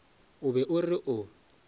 o be o re o